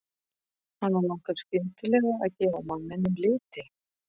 Hana langar skyndilega að gefa manninum liti.